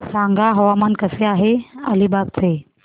सांगा हवामान कसे आहे अलिबाग चे